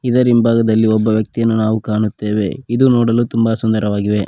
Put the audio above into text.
ಇದರಿಂಭಾಗದಲ್ಲಿ ಒಬ್ಬ ವ್ಯಕ್ತಿಯನ್ನು ನಾವು ಕಾಣುತ್ತೇವೆ ಇದು ನೋಡಲು ತುಂಬ ಸುಂದರವಾಗಿವೆ.